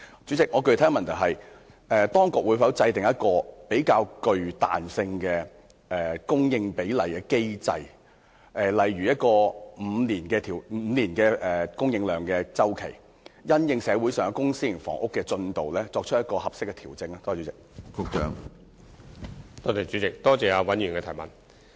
主席，我的具體補充質詢是，當局會否制訂一個較具彈性的供應比例機制，例如按5年的供應量周期，因應社會上公私營房屋的供應進度，就供應量作出適當的調整？